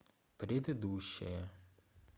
предыдущая